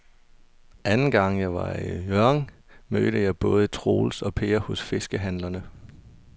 Anden gang jeg var i Hjørring, mødte jeg både Troels og Per hos fiskehandlerne.